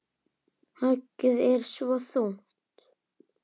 Höggið er svo þungt.